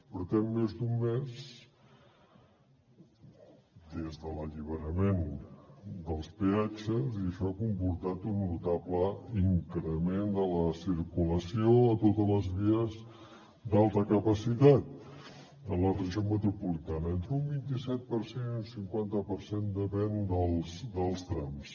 portem més d’un mes des de l’alliberament dels peatges i això ha comportat un notable increment de la circulació a totes les vies d’alta capacitat de la regió metropolitana entre un vint i set per cent i un cinquanta per cent depenent dels trams